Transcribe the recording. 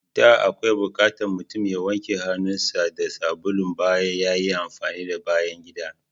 Da akwai bukatan mutum ya wanke hannun sa da sabulu bayan yayi amfani da bayan gida.